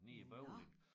Nede i Bøvling